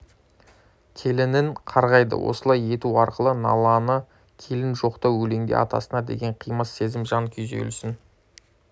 келінін қарғайды осылай ету арқылы налалы келін жоқтау өлеңде атасына деген қимас сезімін жан күйзелісін